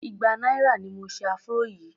igba náírà ni mo se afro yìí.